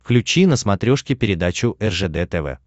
включи на смотрешке передачу ржд тв